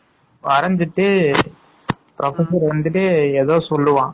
வரஞ்சுட்டு professor வந்துட்டு ஏதோ சொல்லுவான்.